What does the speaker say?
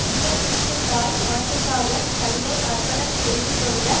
இந்த பிக்கு தாய் நாட்டுக்காகத் தன்னை அர்ப்பணம் செய்து கொண்ட